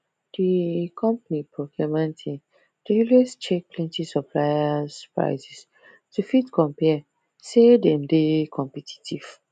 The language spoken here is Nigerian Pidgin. the company procurement team dey always check plenty suppliers prices to fit compare say them dey competitive